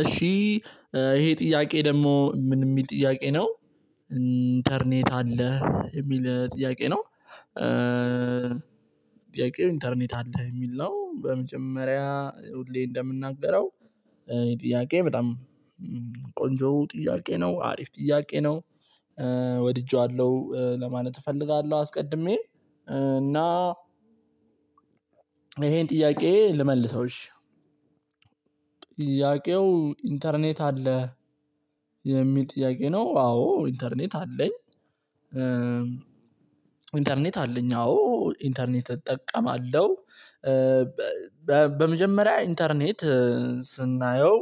እሺ ይሄ ጥያቄ ደግሞ ምን የሚል ጥያቄ ነው። ኢንተርኔት አለህ የሚል ጥያቄ ነው። ጥያቄው ኢንተርኔት አለህ የሚል ነው በመጀመሪያ ሁሌ እንደምናገረው። ጥያቄ በጣም ቆንጆ ጥያቄ ነው አሪፍ ጥያቄ ነው። ወድጄዋለሁ ለማለት እፈልጋለሁ። አስቀድሜ እና ይሄን ጥያቄ ልመልሰው እሺ። ጥያቄው ኢንተርኔት አለ የሚል ጥያቄ ነው። አዎ ኢንተርኔት አለኝ። ኢንተርኔት አለኝ አዎ ኢንተርኔት እጠቀማለሁ። በመጀመሪያ ኢንተርኔት ስናየው።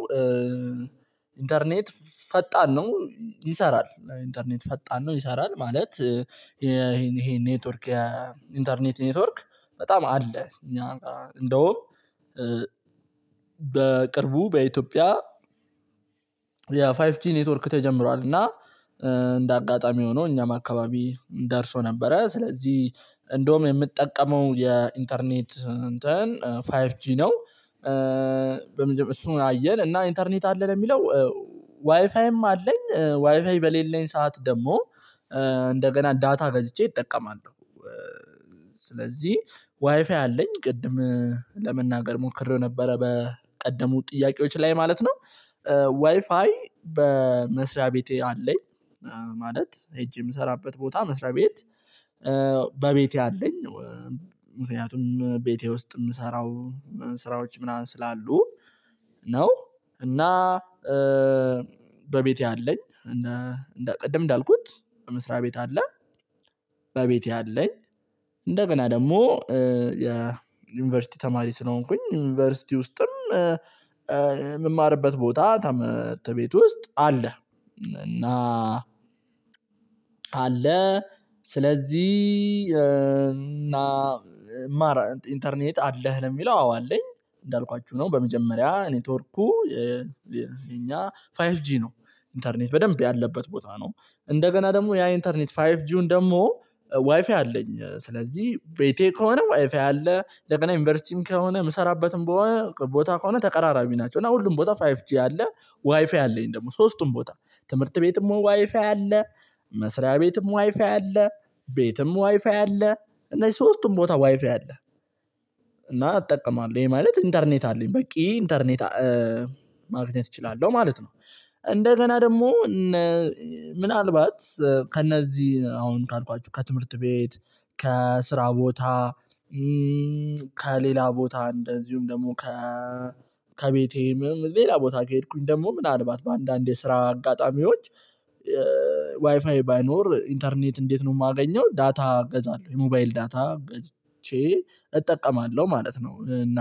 ኢንተርኔት ፈጣን ነው ይሰራል ኢንተርኔት ፈጣን ነው ይሰራል ማለት ይሄን ይሄን ኔትወርክ። ኢንተርኔት ኔትወርክ በጣም አለ እኛ ጋር እንደውም። በቅርቡ በኢትዮጵያ የፋይቭ ጂ ኔትወርክ ተጀምሯል እና። እንደ አጋጣሚ ሆኖ እኛም አከባቢ ደርሶ ነበረ ስለዚህ እንደውም የምጠቀመው የኢንተርኔት እንትን ፋይቭ ጂ ነው። በመጀ እሱን አየን እና ኢንተርኔት አለህ ለሚለው። ዋይፋይም አለኝ ዋይፋይ በሌለኝ ሰዓት ደግሞ እንደገና ዳታ ገዝቼ እጠቀማለሁ። ስለዚህ ዋይፋይ አለኝ ቅድም ለመናገር ሞክሬው ነበረ በቀደሙ ጥያቄዎች ላይ ማለት ነው። ዋይፋይ በመስሪያ ቤቴ አለኝ። ማለት ሄጄ የምሰራበት ቦታ መስሪያ ቤት በቤቴ አለኝ። ምክንያቱም ቤቴ ውስጥ የምሰራው ስራዎች ምናምን ስላሉ ነው። እና በቤቴ አለኝ እንደ ቅድም እንዳልኩት መስሪያ ቤት አለ። በቤቴ አለኝ ደግሞ የዩኒቨርሲቲ ተማሪ ስለሆንኩኝ ዩኒቨርሲቲ ውስጥም ቦታ ትምህርት ቤት ውስጥ አለ። እና አለ ስለዚህ እና ኢንተርኔት አለህ ለሚለው አዎ አለኝ። እንዳልኳችሁ ነው በመጀመሪያ ኔትወርኩ የኛ ፋይቭ ጂ ነው። ኢንተርኔት በደንብ ያለበት ቦታ ነው እንደገና ደግሞ ያ ኢንተርኔት ፋይፍ ጂውን ደግሞ ዋይፋይ አለኝ። ስለዚህ ቤቴ ከሆነ ዋይፋይ አለ ለቀና ዩኒቨርሲቲም ከሆነ የምሰራበትም ቦታ ከሆነ ተቀራራቢ ናቸው። እና ሁሉም ቦታ ፋይቭ ጂ አለ ዋይፋይ አለኝ ደግሞ ሶስቱም ቦታ ትምህርት ቤትም ዋይፋይ አለ መስሪያ ቤትም ዋይፋይ አለ ቤትም ዋይፋይ አለ እነዚህ ሶስቱም ቦታ ዋይፋይ አለ። እና አጠቃላይ ይሄ ማለት ኢንተርኔት አለኝ በቂ ኢንተርኔት ማግኘት እችላለሁ ማለት ነው። እንደገና ደግሞ ምናልባት ከእነዚህ አሁን ካልኳችሁ ከትምህርት ቤት ከስራ ቦታ ከሌላ ቦታ እንደዚሁም ደግሞ ከ ከቤቴም ሌላ ቦታ ከሄድኩኝ ደግሞ ምናልባት በአንዳንድ የስራ አጋጣሚዎች። ዋይፋይ ባይኖር ኢንተርኔት እንዴት ነው የማገኘው? ዳታ እገዛለሁ የሞባይል ዳታ ገዝቼ እጠቀማለሁ ማለት ነው። እና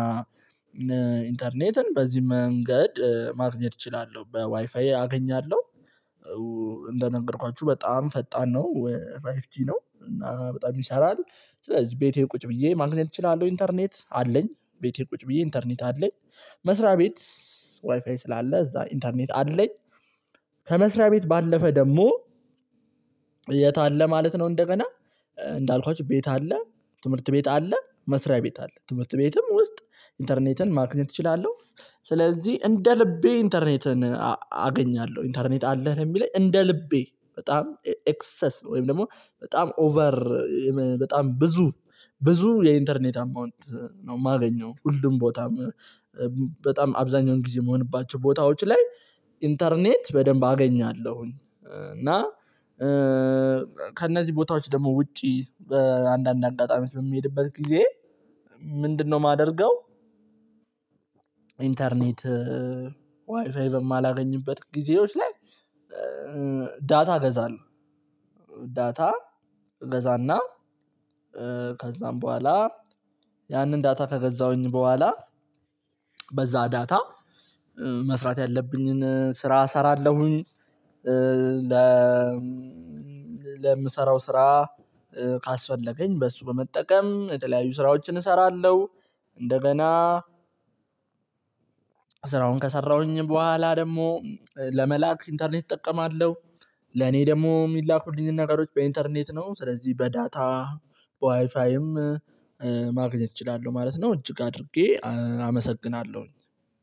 ኢንተርኔትን በዚህ መንገድ ማግኘት እችላለሁ ዋይፋይ አገኛለሁ። እንደነገርኳችሁ በጣም ፈጣን ነው ፋይቭ ጂ ነው እና በጣም ይሰራል። ስለዚህ ቤቴ ቁጭ ብዬ ማግኘት እችላለሁ ኢንተርኔት አለኝ ቤቴ ቁጭ ብዬ ኢንተርኔት አለኝ። መስሪያ ቤት ዋይፋይ ስላለ እዛ ኢንተርኔት አለኝ። ከመስሪያ ቤት ባለፈ ደግሞ የት አለ ማለት ነው። እንደገና እንዳልኳችሁ ቤት አለ ትምህርት ቤት አለ መስሪያ ቤት አለ ትምህርት ቤትም ውስጥ ኢንተርኔትን ማግኘት እችላለሁ። ስለዚህ እንደ ልቤ ኢንተርኔትን አገኛለሁ። ኢንተርኔት አለህ ለሚለኝ እንደ ልቤ በጣም ኤክሰስ ነው ወይም ደግሞ በጣም ኦቨር። በጣም ብዙ ብዙ የኢንተርኔት አማውንት ነው የማገኘው ሁሉም ቦታ በጣም አብዛኛውን ጊዜ መሆንባቸው ቦታዎች ላይ ኢንተርኔት በደንብ አገኛለሁኝ። እና ከእነዚህ ቦታዎች ደግሞ ውጪ አንዳንድ አጋጣሚ የምሄድበት ጊዜ ምንድነው የማደርገው? ኢንተርኔት ዋይፋይ በማላገኝበት ጊዜዎች ላይ ዳታ ገዛለው። ዳታ ገዛና ከዛም በኋላ ያንን ዳታ ከገዛሁኝ በኋላ በዛ ዳታ መስራት ያለብኝን ስራ እሰራለሁኝ። ለምሰራው ስራ ካስፈለገኝ በእርሱ በመጠቀም የተለያዩ ስራዎችን እሰራለሁ። እንደገና ስራውን ከሰራሁኝ በኋላ ደግሞ ለመላክ ኢንተርኔት እጠቀማለሁ። ለኔ ደግሞ የሚላኩልኝን ነገሮች በኢንተርኔት ነው ስለዚህ በዳታ በዋይፋይም ማግኘት እችላለሁ ማለት ነው። እጅግ አድርጌ አመሰግናለሁኝ።